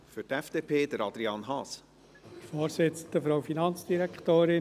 Hier geht es um die Grundsätze für die Bewertung.